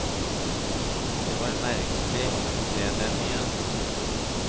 Det var merkelig å se dem igjen.